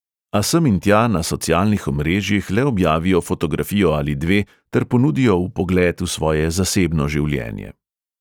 A sem in tja na socialnih omrežjih le objavijo fotografijo ali dve ter ponudijo vpogled v svoje zasebno življenje.